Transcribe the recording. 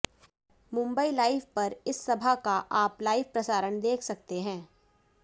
Mumbai live पर इस सभा का आप लाइव प्रसारण देख सकते हैं